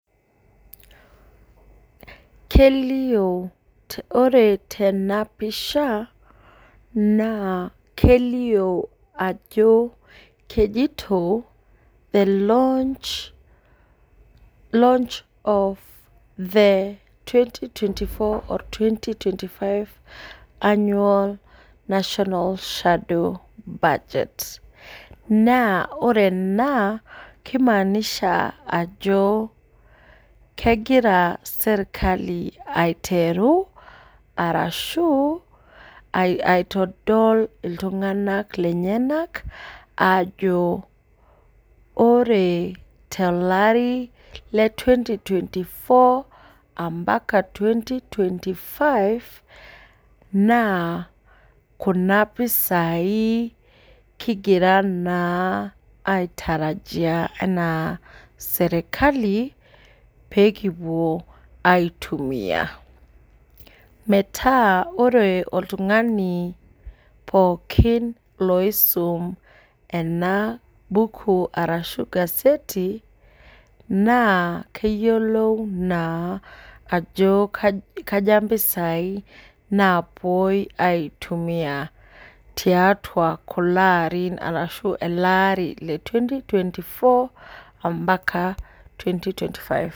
Kelio ore tenapisha na kelio ajo kejito the launch launch of the twenty twenty five twenty twenty for annualnational shadow budget na ore ena kimaanisha ajo kegira serkali aitwru arashu aitodol ltunganak lenyenak ajo ore teleearii le twenty twenty four ambaka twenty five na kuna pisai kigira na aitarajia ana serkali pekipuo aitumia metaa ore oltungani pooki oisum ena buku naleyiolou naa aja mpisai napuoi aitumia tiatua kulaa arin ashu elaari le twenty twenty four ambaka twenty twenty five.